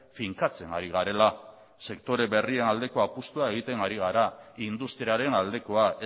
finkatzen ari garela sektore berrian aldeko apustua egiten ari gara industriaren aldekoa